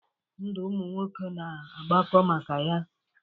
Ndụ ụmụ nwoke na-agbakọ maka ya.